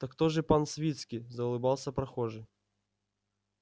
так то же пан свицкий заулыбался прохожий